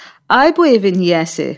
Ay bu evin yiyəsi!